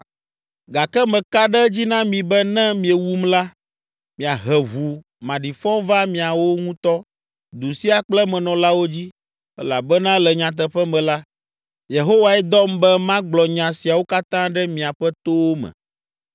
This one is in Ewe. Gake meka ɖe edzi na mi be ne miewum la, miahe ʋu maɖifɔ va miawo ŋutɔ, du sia kple emenɔlawo dzi; elabena le nyateƒe me la, Yehowae dɔm be magblɔ nya siawo katã ɖe miaƒe towo me.”